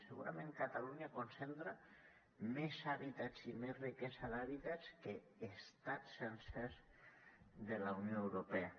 segurament catalunya concentra més hàbitats i més riquesa d’hàbitats que estats sencers de la unió europea